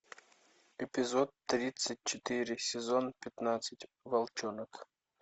эпизод тридцать четыре сезон пятнадцать волчонок